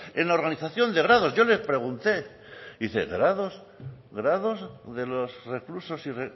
en la organización de grados yo les pregunte dice grados grados de los reclusos y